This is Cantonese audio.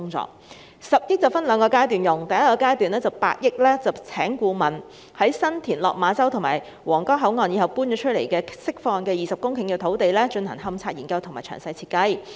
這10億元會分兩個階段使用，第一個階段會用8億元聘請顧問，在新田、落馬洲及皇崗口岸遷出後釋放的20公頃土地上，進行勘察研究和詳細設計。